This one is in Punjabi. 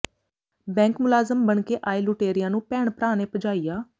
ਬੈਂਕ ਮੁਲਾਜ਼ਮ ਬਣ ਕੇ ਆਏ ਲੁਟੇਰਿਆਂ ਨੂੰ ਭੈਣ ਭਰਾ ਨੇ ਭਜਾਇਆ